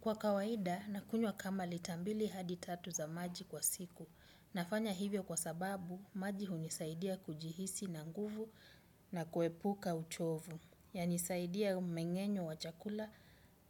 Kwa kawaida, nakunywa kama lita mbili hadi tatu za maji kwa siku. Nafanya hivyo kwa sababu, maji hunisaidia kujihisi na nguvu na kuepuka uchovu. Yanisaidia mmengenyo wa chakula